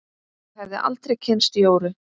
Og hefði aldrei kynnst Jóru.